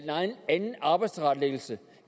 anden arbejdstilrettelæggelse